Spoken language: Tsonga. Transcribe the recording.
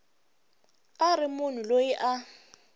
a ri munhu loyi a